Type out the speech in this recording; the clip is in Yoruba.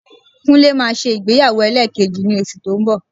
Kúnlé máa ṣe ìgbéyàwó ẹlẹ́ẹ̀kejì ní oṣù tó ń bọ̀